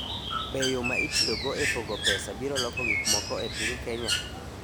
Be yo ma itiyogo e pogo pesa biro loko gik moko e piny Kenya?